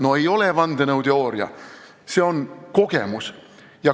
No ei ole vandenõuteooria, see on kogemus.